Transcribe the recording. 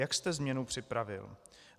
Jak jste změnu připravil?